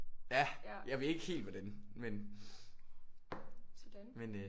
Ja. Jeg ved ikke helt hvordan men men øh